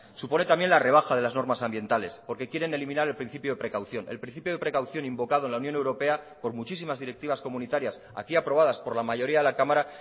supone también la rebaja de las normas ambientales porque quieren eliminar el principio de precaución el principio de precaución invocado en la unión europea por muchísimas directivas comunitarias aquí aprobadas por la mayoría de la cámara